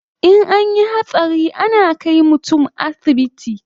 In anyi hatsari ana kai mutun asibiti